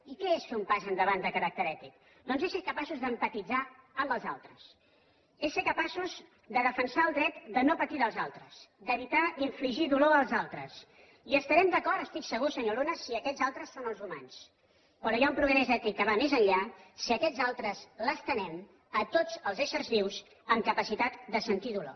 i què és fer un pas endavant de caràcter ètic doncs és ser capaços d’empatitzar amb els altres és ser capaços de defensar el dret de no patir dels altres d’evitar infligir dolor als altres i estarem d’acord n’estic segur senyor luna si aquests altres són els humans però hi ha un progrés ètic que va més enllà si aquests altres l’estenem a tots els éssers vius amb capacitat de sentit dolor